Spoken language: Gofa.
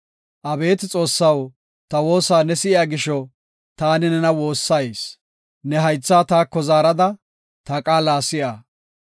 Abeeti Xoossaw ta woosa ne si7iya gisho, taani nena woossayis. Ne haythaa taako zaarada, ta qaala si7a.